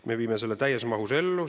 Me viime selle täies mahus ellu.